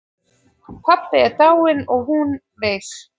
Pabbi dáinn og hún veik.